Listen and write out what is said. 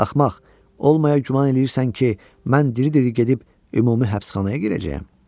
Axmaq, olmayana güman eləyirsən ki, mən diri-diri gedib ümumi həbsxanaya girəcəyəm.